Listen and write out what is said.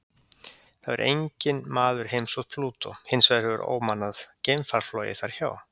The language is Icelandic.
Það hefur enginn maður heimsótt Plútó, hins vegar hefur ómannað geimfar flogið þar hjá.